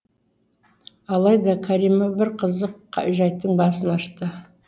алайда кәрима бір қызық жайттың басын ашты